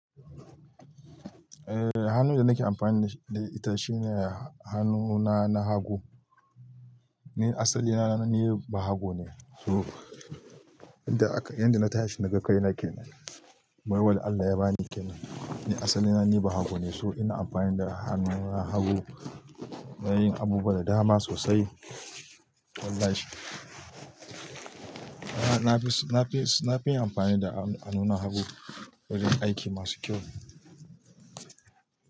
Eh hannun da nake amfani da ita shine hannuna na hagu. Ni asalina na ni bahago ne. To inda yanda na tashi na ga kai nake nan. Baiwa da Allah ya ba ni kenan. Ni asalina ni bahago ne, so ina amfani da hannun hagu ina yin abubuwa da dama sosai. Wallahi. Na fi, na fi, na fi amfani da hannuna hagu wurin aiki masu kyau.